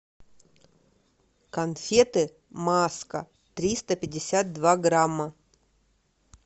конфеты маска триста пятьдесят два грамма